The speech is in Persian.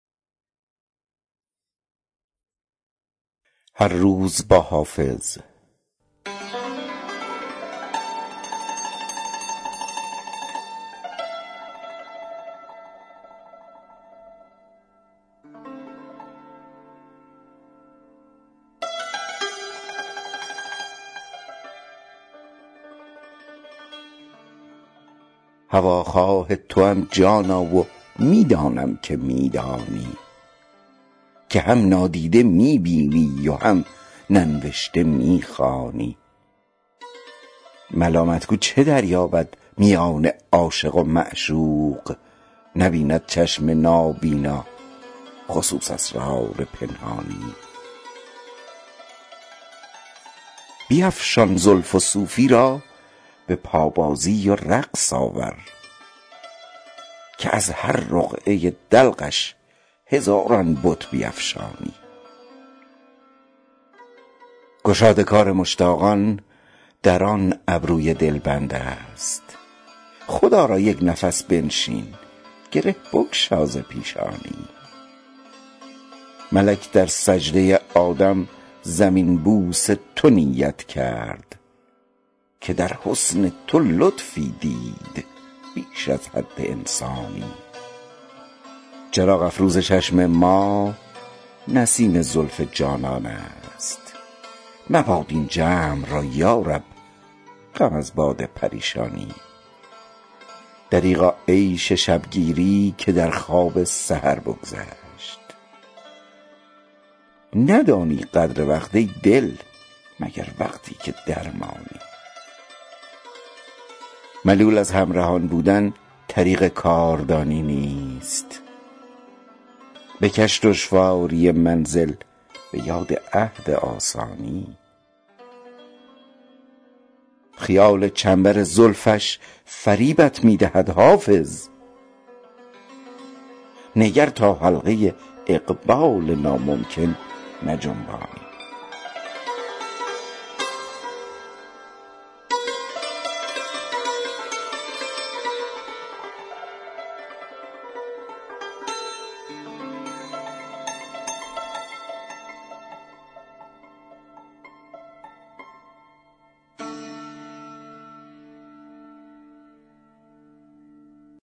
هواخواه توام جانا و می دانم که می دانی که هم نادیده می بینی و هم ننوشته می خوانی ملامت گو چه دریابد میان عاشق و معشوق نبیند چشم نابینا خصوص اسرار پنهانی بیفشان زلف و صوفی را به پابازی و رقص آور که از هر رقعه دلقش هزاران بت بیفشانی گشاد کار مشتاقان در آن ابروی دلبند است خدا را یک نفس بنشین گره بگشا ز پیشانی ملک در سجده آدم زمین بوس تو نیت کرد که در حسن تو لطفی دید بیش از حد انسانی چراغ افروز چشم ما نسیم زلف جانان است مباد این جمع را یا رب غم از باد پریشانی دریغا عیش شب گیری که در خواب سحر بگذشت ندانی قدر وقت ای دل مگر وقتی که درمانی ملول از همرهان بودن طریق کاردانی نیست بکش دشواری منزل به یاد عهد آسانی خیال چنبر زلفش فریبت می دهد حافظ نگر تا حلقه اقبال ناممکن نجنبانی